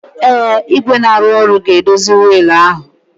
Ee, igwe na-arụ ọrụ ga-edozi wiil ahụ